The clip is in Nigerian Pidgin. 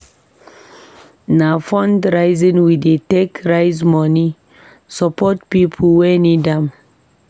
Na fundraising we dey take raise moni support pipo wey need am.